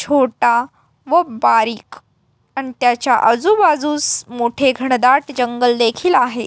छोटा व बारीक आणि त्याच्या आजू बाजूस मोठे घनडाट जंगल देखील आहे.